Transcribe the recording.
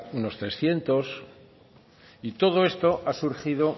unos trescientos y todo esto ha surgido